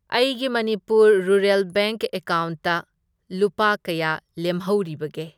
ꯑꯩꯒꯤ Manipur rural bank ꯑꯦꯀꯥꯎꯟꯠꯇ ꯂꯨꯄꯥ ꯀꯌꯥ ꯂꯦꯝꯍꯧꯔꯤꯕꯒꯦ?